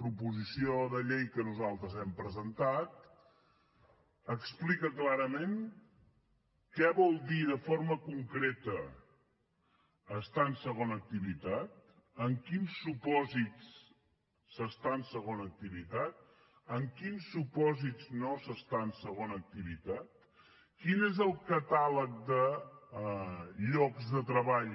proposició de llei que nosaltres hem presentat explica clarament què vol dir de forma concreta estar en segona activitat en quins supòsits s’està en segona activitat en quins supòsits no s’està en segona activitat quin és el catàleg de llocs de treball